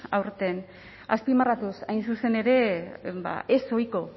aurten zzpimarratuz hain zuzen ere ezohiko